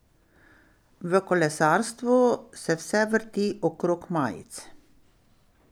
V kolesarstvu se vse vrti okrog majic.